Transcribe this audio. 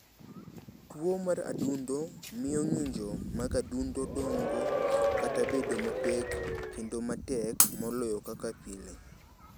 Tuwo mar adundo miyo ng’injo mag adundo dongo kata bedo mapek kendo matek moloyo kaka pile.